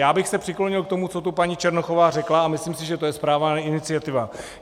Já bych se přiklonil k tomu, co tu paní Černochová řekla, a myslím si, že je to správná iniciativa.